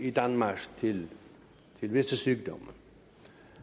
i danmark til visse sygdomme